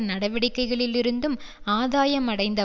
நடவடிக்கைகளிலிருந்தும் ஆதாயம் அடைந்த